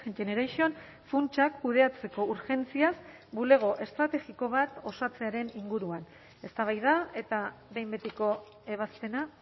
generation funtsak kudeatzeko urgentziaz bulego estrategiko bat osatzearen inguruan eztabaida eta behin betiko ebazpena